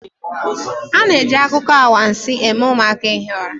A na-eji akụkọ anwansi eme ụmụaka hie ụra